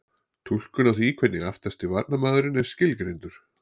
Túlkun á því hvernig aftasti varnarmaður er skilgreindur?